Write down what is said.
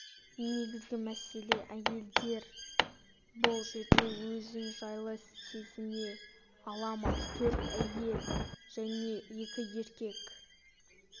негізгі мәселе әйелдер бұл жерде өзін жайлы сезіне ала ма төрт әйел және екі еркек жазғы